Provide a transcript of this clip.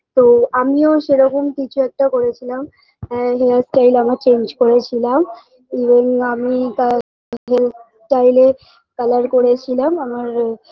তো আমিও সে রকম কিছু একটা করেছিলাম হ্যাঁ hairstyle আমার change করেছিলাম even আমি তাতে hairstyle -এ colour করেছিলাম আমার